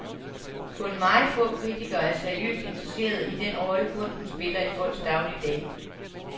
Kun meget få kritikere er seriøst interesserede i den rolle, kunsten spiller i folks dagligdag.